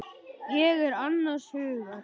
Ég er annars hugar.